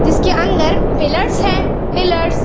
जिसके अंदर पिलर्स है पिलर्स --